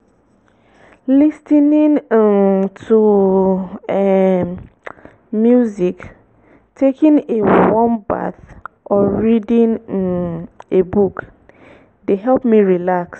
lis ten ing um to um music taking a warm bath or reading um a book dey help me relax.